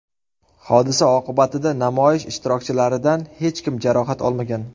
Hodisa oqibatida namoyish ishtirokchilaridan hech kim jarohat olmagan.